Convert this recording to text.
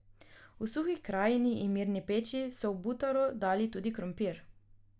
V Suhi krajini in Mirni peči so v butaro dali tudi krompir.